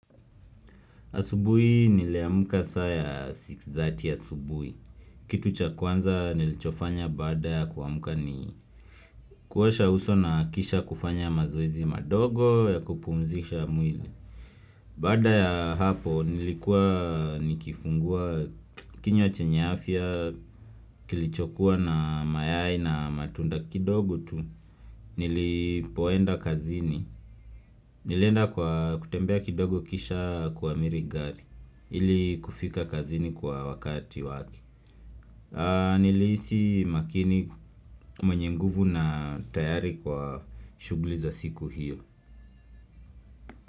Asubuhi niliamka saa ya 6:30 asubuhi. Kitu cha kwanza nilichofanya baada ya kuamka ni kuosha uso na kisha kufanya mazoezi madogo ya kupumzisha mwili. Baada ya hapo nilikuwa nikifungua kinywa chenye afya kilichokuwa na mayai na matunda kidogo tu. Nilipoenda kazini. Nilienda kwa kutembea kidogo kisha kuamiri gari. Ili kufika kazini kwa wakati wake Nilihisi makini mwenye nguvu na tayari kwa shuguli za siku hiyo.